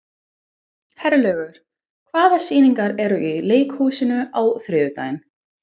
Herlaugur, hvaða sýningar eru í leikhúsinu á þriðjudaginn?